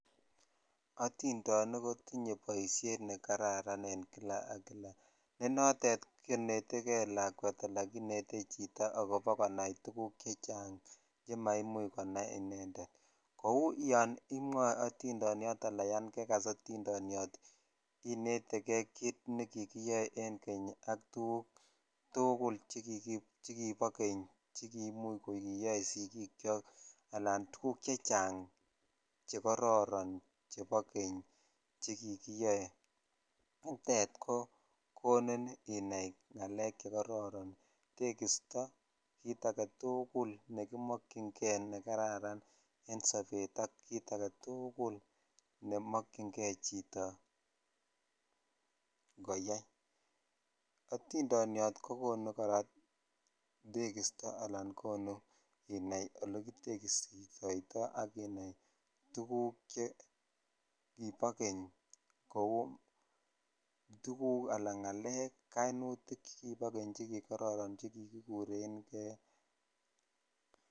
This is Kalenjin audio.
Otindenik kotinye boishet nekararan en kila ak kila, nee notet konetekee lakwet alaa kinetee chito akobo konai tukuk chechang chemaimuch konai inendet, kou yoon imwoe otindoniot anaan yoon kekas otindoniot inetekee kiit nekikiyoe en keny ak tukuk tukul chekibo keny chekimuch ko kiyoe sikiikyo alaan tukuk chechang chekororon chebo keny chekikiyoe, nitet ko onin inai ngalek chekororon, tekisto kiit aketukul nekimokying'e nekararan en sobet ak kiit aketukul nemokying'e chito koyai, otindoniot kokonu kora tekisto alaan inaii olekitekistoito ak inaai tukuk cheibo keny kouu tukuk alaa ngalek kainutik chekibo keny chekikororon chekikikureng'e.